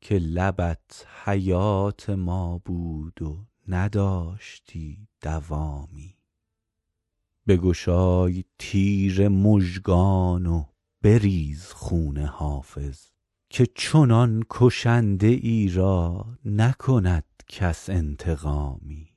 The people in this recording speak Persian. که لبت حیات ما بود و نداشتی دوامی بگشای تیر مژگان و بریز خون حافظ که چنان کشنده ای را نکند کس انتقامی